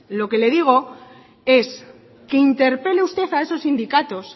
lo que le digo es que interpele usted a esos sindicatos